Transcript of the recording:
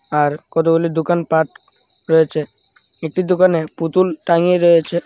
আর কতগুলি দোকানপাট রয়েছে একটি দোকানে পুতুল টাঙিয়ে রয়েছে.